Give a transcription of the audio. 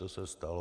To se stalo.